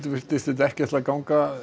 virtist ekki ætla að ganga